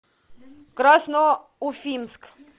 красноуфимск